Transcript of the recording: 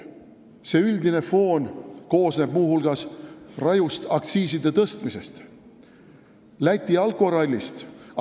See üldine foon koosneb muu hulgas rajust aktsiiside tõstmisest ja Läti alkorallist.